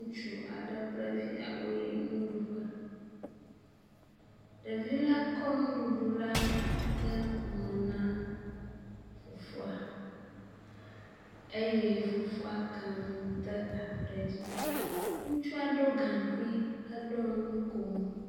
Ŋutsu aɖe kple via woyi nuɖuƒe, ɖevi la kɔ nuɖuɖu la de nume na fofoa eye fofoa ke nu te aɖu ɖe edzi. Ŋutsua ɖɔ gaŋkui heɖo nukomo.